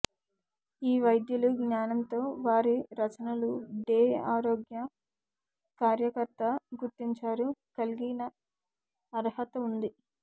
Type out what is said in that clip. ఈ వైద్యులు జ్ఞానంతో వారి రచనలు డే ఆరోగ్య కార్యకర్త గుర్తించారు కలిగి అర్హత ఉంది